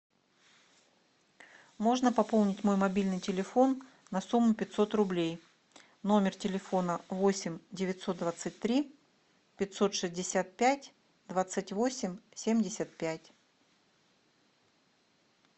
можно пополнить мой мобильный телефон на сумму пятьсот рублей номер телефона восемь девятьсот двадцать три пятьсот шестьдесят пять двадцать восемь семьдесят пять